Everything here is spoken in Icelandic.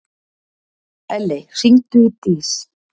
Elley, hringdu í Dís.